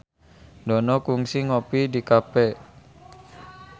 Dono kungsi ngopi di cafe